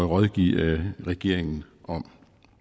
rådgive regeringen om